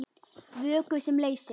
Vökvi sem leysir